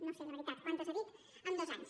no sé la veritat quantes n’ha dit en dos anys